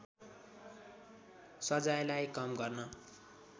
सजायलाई कम गर्न